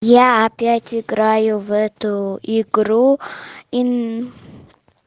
я опять играю в эту игру и н